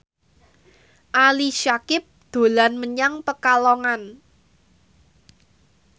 Ali Syakieb dolan menyang Pekalongan